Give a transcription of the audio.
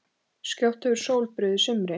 Skjótt hefur sól brugðið sumri